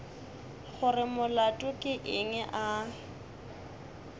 gore molato ke eng a